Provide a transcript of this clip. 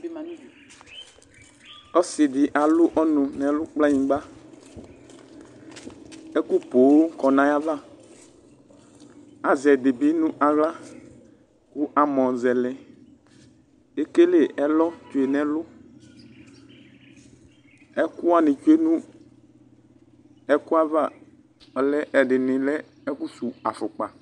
ɔsi di alu ɔnu nu ɛlu, kplanyigba ɛku pooo kɔnu ayiʋ avaazɛ ɛdi bi nu aɣlaamɔ zɛlɛekele ɛlɔ tsoɛ nu ɛlu ɛkuwani tsoe nu ɛku ayiʋ ava ɔlɛ , ɛdini lɛ ɛku suu afukpa